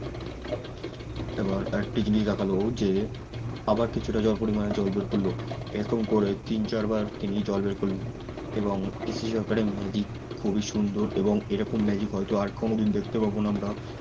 এবার একটি জিনিস দেখালো যে আবার কিছুটা জল পরিমাণে জল বের করল এরকম করে তিন চার বার তিনি জল বের করল এবং পিসি সরকারের magic খুবই সুন্দর এবং এরকম magic হয়তো আর কোনদিন দেখতে পাবো না আমরা